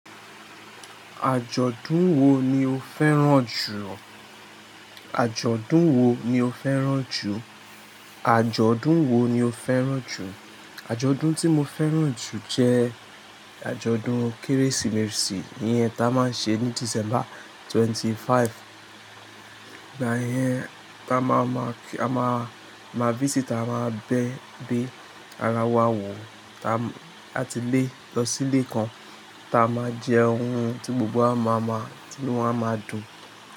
Àjọ̀dún wo ni o fẹ́ràn jù? Àjọ̀dún wo ni o fẹ́ràn jù? Àjọ̀dún wo ni o fẹ́ràn jù? Àjọ̀dún tí mo fẹ́ràn jù jẹ àjọ̀dún Kérésìmesì yẹn tá a máa ń ṣe ní December 25. Ayẹyẹ ta máa ma, a máa, má visitor máa bẹ, bé ara wa wò, ta a ti lé lọ sílé kan ta a máa jẹ ohun tí gbogbo wa máa máa, tí inú wa máa dùn.